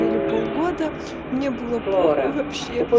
или полгода мне было похую вообще